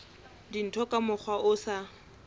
dintho ka mokgwa o sa